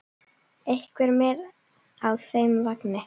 Einhver með á þeim vagni?